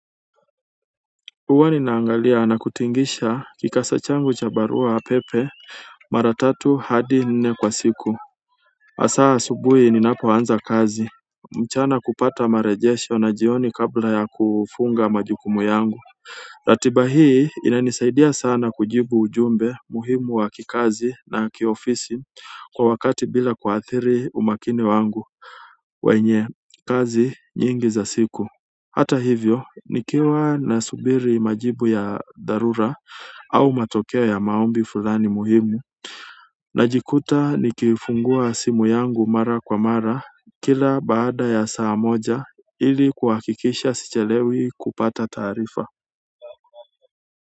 Huwa ninaangalia na kutikisa kikasha changu cha barua pepe mara tatu hadi nne kwa siku. Hasa asubuhi ninapoanza kazi. Mchana kupata mrejesho na jioni kabla ya kufunga majukumu yangu. Ratiba hii inanisaidia sana kujibu ujumbe muhimu wa kikazi na kiofisi kwa wakati bila kuathiri umakini wangu. Kwenye kazi nyingi za siku hata hivyo nikiwa na subiri majibu ya dharura au matokeo ya maombi fulani muhimu. Najikuta nikifungua simu yangu mara kwa mara kila baada ya saa moja ili kuhakikisha sichelewi kupata taarifa.